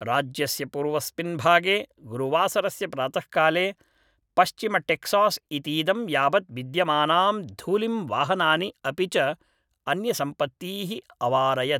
राज्यस्य पूर्वस्मिन् भागे गुरुवासरस्य प्रातःकाले पश्चिमटेक्सास् इतीदं यावत् विद्यमानां धूलिं वाहनानि अपि च अन्यसम्पत्तीः अवारयत्